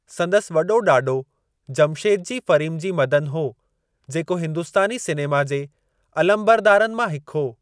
संदसि वॾो ॾाॾो जमशेदजी फ़रीमजी मदन हो जेको हिंदुस्तानी सिनेमा जे अलमबरदारनि मां हिक हो।